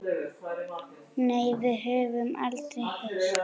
Nei, við höfum aldrei hist.